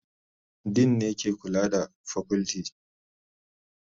Dean ne ke kula da fakulti